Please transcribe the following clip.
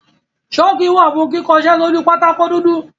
ṣọ́kì wà fún kíkọṣẹ́ sójú pátákó dúdú.